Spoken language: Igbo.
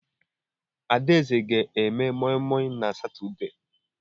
Adaeze ga eme moi moi na Satọde.